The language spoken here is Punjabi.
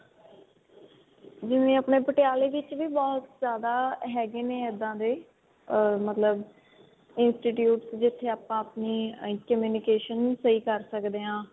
ਜਿਵੇਂ ਆਪਣੇ ਪਟਿਆਲੇ ਵਿੱਚ ਵੀ ਬਹੁਤ ਜਿਆਦਾ ਹੈਗੇ ਨੇ ਏਦਾ ਦੇ ਅਹ ਮਤਲਬ institutes ਜਿੱਥੇ ਆਪਾਂ ਆਪਣੀ communication ਸਹੀ ਕਰ ਸਕਦੇ ਹਾਂ